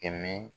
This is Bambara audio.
Kɛmɛ